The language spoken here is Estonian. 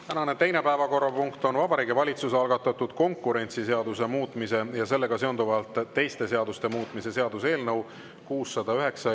Tänane teine päevakorrapunkt on Vabariigi Valitsuse algatatud konkurentsiseaduse muutmise ja sellega seonduvalt teiste seaduste muutmise seaduse eelnõu 609.